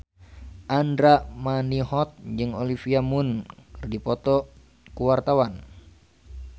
Andra Manihot jeung Olivia Munn keur dipoto ku wartawan